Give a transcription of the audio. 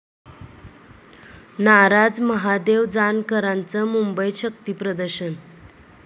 नाराज महादेव जानकरांचं मुंबईत शक्तीप्रदर्शन?